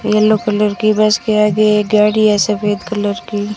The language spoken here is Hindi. येलो कलर की बस के आगे एक गाड़ी है सफेद कलर की --